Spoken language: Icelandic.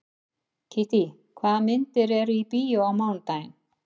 Kittý, hvaða myndir eru í bíó á mánudaginn?